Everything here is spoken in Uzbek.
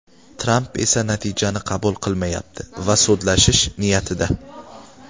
Tramp esa natijani qabul qilmayapti va sudlashish niyatida.